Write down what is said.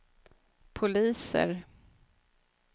poliser